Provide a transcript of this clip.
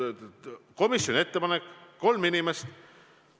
Komisjoni ettepanek on need kolm inimest.